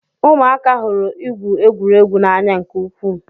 Ụmụaka hụrụ igwu egwuregwu n'anya nke ukwuu